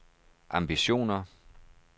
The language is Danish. ambitioner